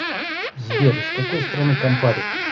сбер из какой страны кампари